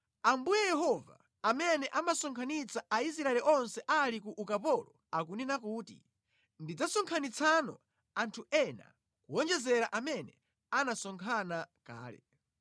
Ambuye Yehova, amene amasonkhanitsa Aisraeli onse ali ku ukapolo akunena kuti, “Ndidzasonkhanitsano anthu ena kuwonjezera amene anasonkhana kale.”